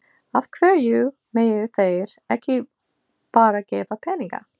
Af hverju mega þeir ekki bara gefa peninga?